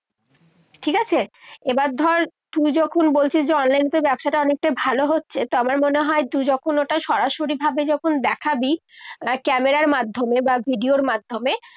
ঠিক আছে? এবার ধর, তুই যখন বলছিস যে online এ তোর ব্যবসাটা অনেকটাই ভালো হচ্ছে, তো আমার মনে হয় তুই যখন ওটা সরাসরিভাবে যখন দেখাবি camera র মাধ্যমে বা video র মাধ্যমে